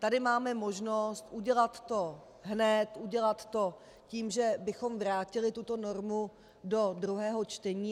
Tady máme možnost udělat to hned, udělat to tím, že bychom vrátili tuto normu do druhého čtení.